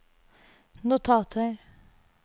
notater